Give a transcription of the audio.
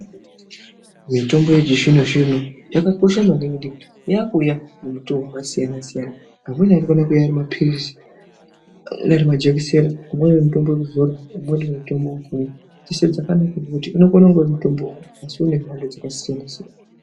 Mitombo yechizvino zvino yakakosha maningi ngekuti yakuuya ngemitoo wakasiyana siyana, amweni anokona kuuya ari mapiririzi, amweni ari majekiseni ,umweni mutombo wekuzora, umweni uri mutombo wekumwa .Dzeshe dzakanakira kuti yeshe inenge iri mitombo asi iri mhando dzakasiyana siyana.